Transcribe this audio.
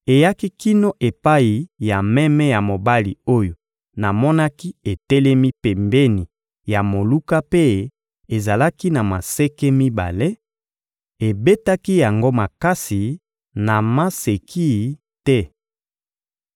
eyaki kino epai ya meme ya mobali oyo namonaki etelemi pembeni ya moluka mpe ezalaki na maseke mibale; ebetaki yango makasi, na maseki te.